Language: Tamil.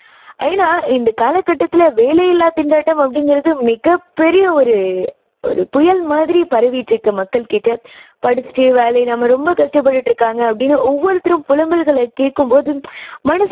ஏன்னா இந்தக் காலக்கட்டத்துல வேலை இல்லா திண்டாட்டம் அப்படிங்குறது மிகப் பெரிய ஒரு ஒரு புயல் மாதிரி பரவிட்டு இருக்கு மக்கள் கிட்ட. படிச்சுட்டு வேலை இல்லாம ரொம்ப கஷ்டப்பட்டுட்டு இருக்காங்க அப்படின்னு ஒவ்வொருத்தரும் புலம்பல்களை கேக்கும் போது மனசுக்கு